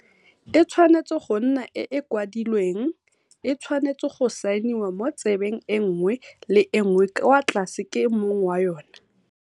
E tshwanetse go nna e e kwadilweng, e tshwanetse go saeniwa mo tsebeng e nngwe le e nngwe kwa tlase ke mong wa yona.